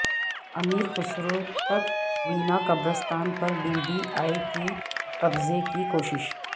امیر خسرو تکونہ قبرستان پر ڈی ڈی اے کی قبضہ کی کوشش